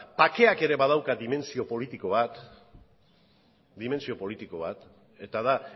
bakeak ere badauka dimentsio politiko bat eta da